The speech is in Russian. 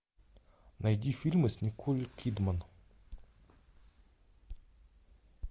найди фильмы с николь кидман